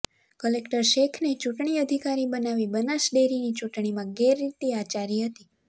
collector શેખને ચૂંટણી અધિકારી બનાવી બનાસડેરીની ચૂંટણીમાં ગેરરીતિ આચારી હતી